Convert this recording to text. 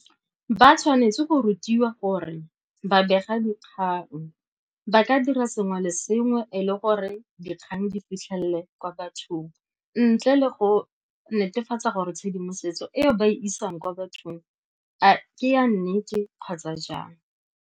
Ba tshwanetse go rutiwa gore ba begadikgang ba ka dira sengwe le sengwe e le gore dikgang di fitlhelele kwa bathong, ntle le go netefatsa gore tshedimosetso eo ba isang kwa bathong a ke ya nnete kgotsa jang.